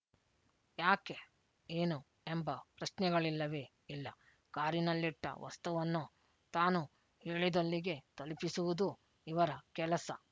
ಯಾಕೆ ಏನು ಎಂಬ ಪ್ರಶ್ನೆಗಳಿಲ್ಲವೇ ಇಲ್ಲ ಕಾರಿನಲ್ಲಿಟ್ಟ ವಸ್ತುವನ್ನು ತಾನು ಹೇಳಿದಲ್ಲಿಗೆ ತಲುಪಿಸುವುದು ಇವರ ಕೆಲಸ